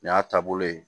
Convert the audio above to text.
Nin y'a taabolo ye